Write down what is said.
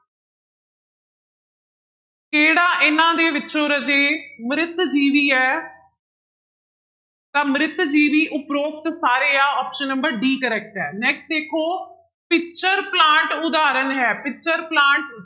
ਕਿਹੜਾ ਇਹਨਾਂ ਦੇ ਵਿੱਚੋਂ ਰਾਜੇ ਮ੍ਰਿਤ ਜੀਵੀ ਹੈ ਤਾਂ ਮ੍ਰਿਤ ਜੀਵੀ ਉਪਰੋਕਤ ਸਾਰੇ ਆ option number d correct ਹੈ next ਦੇਖੋ ਪਿਚਰ ਪਲਾਂਟ ਉਦਾਹਰਣ ਹੈ ਪਿਚਰ ਪਲਾਂਟ